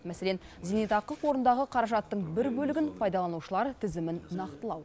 мәселен зейнетақы қорындағы қаражаттың бір бөлігін пайдаланушылар тізімін нақтылау